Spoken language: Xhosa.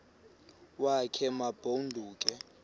wakhe ma baoduke